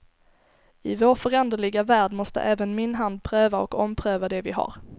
I vår föränderliga värld måste även min hand pröva och ompröva det vi har.